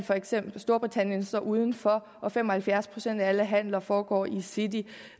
for eksempel storbritannien står udenfor og fem og halvfjerds procent af alle handler foregår i city